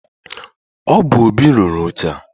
Ọ bu Óbị rụrụ oche a.